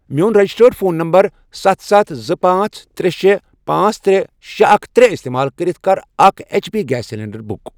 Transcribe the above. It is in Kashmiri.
میون رجسٹرڈ فون نمبر ستھ، ستھ، زٕ، پانژھ، ترے، شے، پانژھ، ترے، شے، اکھَ، ترے، استعمال کٔرِتھ کَر اکھ H P gas cylinder book.